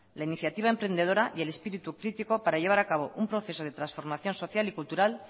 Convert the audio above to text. la inactiva emprendedora y el espíritu crítico para llevar a cabo un proceso de transformación social y cultural